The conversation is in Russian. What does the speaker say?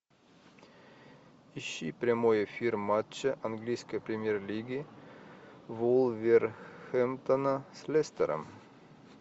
ищи прямой эфир матча английской премьер лиги вулверхэмптона с лестером